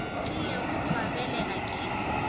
tlilego go ba belega ke